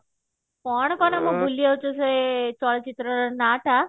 କଣ କଣ ମୁଁ ଭୁଲି ଯାଉଛି ସେ ଚଳଚିତ୍ରର ନା ଟା